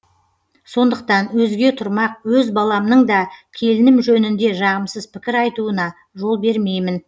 сондықтан өзге тұрмақ өз баламның да келінім жөнінде жағымсыз пікір айтуына жол бермеймін